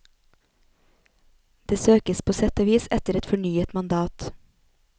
Det søkes på sett og vis etter et fornyet mandat.